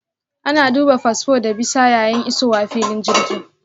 Ana duba fasfo da bisa yayin isowa filin jirgi.